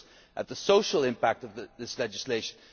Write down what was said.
It looks at the social impact of this legislation.